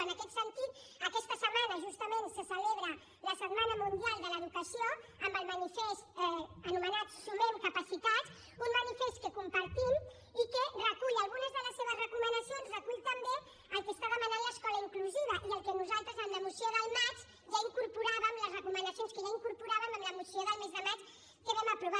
en aquest sentit aquesta setmana justament se celebra la setmana mundial per l’educació amb el manifest anomenat sumem capacitats un manifest que compartim i que recull algunes de les seves recomanacions recull també el que demana l’escola inclusiva i el que nosaltres en la moció del maig ja incorporàvem les recomanacions que ja incorporàvem en la moció del mes de maig que vam aprovar